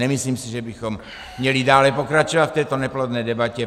Nemyslím si, že bychom měli dále pokračovat v této neplodné debatě.